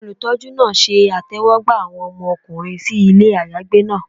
Olutọjú naa ṣe itẹwọgba awọn ọmọkunrin si ile ayagbe naa